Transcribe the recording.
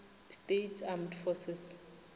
states armed forces